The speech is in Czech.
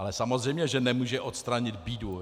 Ale samozřejmě že nemůže odstranit bídu.